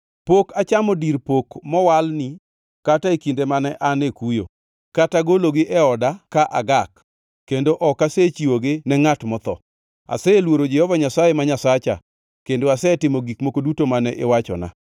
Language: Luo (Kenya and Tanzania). Pok achamo dir pok mowalni kata e kinde mane an e kuyo, kata gologi e oda ka agak; kendo ok asechiwogi ne ngʼat motho. Aseluoro Jehova Nyasaye ma Nyasacha, kendo asetimo gik moko duto mane iwachona.